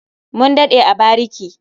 Mun daɗe a bariki.